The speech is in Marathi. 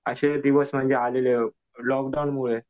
असे दिवस म्हणजे आलेले लॉकडाऊनमुळे.